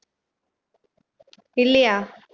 இல்லையா